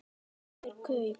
Kaup er kaup.